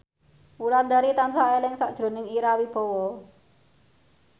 Wulandari tansah eling sakjroning Ira Wibowo